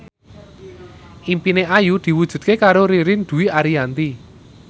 impine Ayu diwujudke karo Ririn Dwi Ariyanti